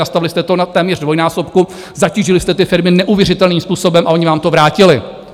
Nastavili jste to na téměř dvojnásobku, zatížili jste ty firmy neuvěřitelným způsobem a ony vám to vrátily.